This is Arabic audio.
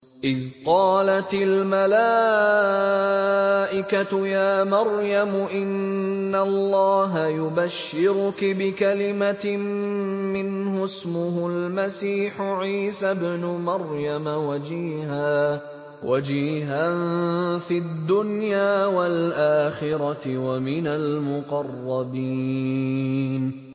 إِذْ قَالَتِ الْمَلَائِكَةُ يَا مَرْيَمُ إِنَّ اللَّهَ يُبَشِّرُكِ بِكَلِمَةٍ مِّنْهُ اسْمُهُ الْمَسِيحُ عِيسَى ابْنُ مَرْيَمَ وَجِيهًا فِي الدُّنْيَا وَالْآخِرَةِ وَمِنَ الْمُقَرَّبِينَ